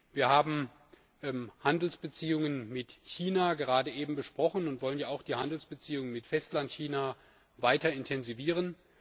Wir haben Handelsbeziehungen mit China gerade eben besprochen und wollen ja auch die Handelsbeziehungen mit Festlandchina weiter intensivieren.